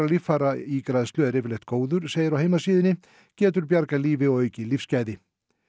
líffæraígræðslu er yfirleitt góður segir á heimasíðunni getur bjargað lífi og aukið lífsgæði